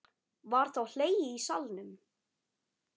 Var þá hlegið í salnum.